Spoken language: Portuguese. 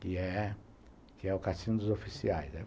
que é que é o cassino dos oficiais.